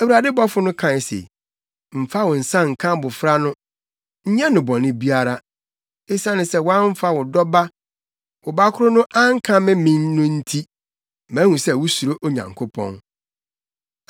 Awurade bɔfo no kae se, “Mfa wo nsa nka abofra no. Nyɛ no bɔne biara. Esiane sɛ woamfa wo dɔba, wo ba koro no ankame me no nti, mahu sɛ wusuro Onyankopɔn.”